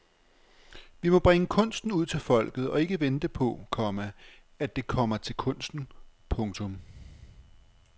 Vi må bringe kunsten ud til folket og ikke vente på, komma at det kommer til kunsten. punktum